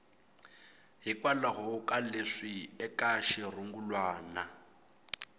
hikwalaho ka leswi eka xirungulwana